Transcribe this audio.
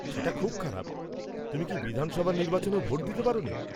সেটা খুব খারাপ। তুমি কি বিধানসভা নির্বাচনেও ভোট দিতে পারনি?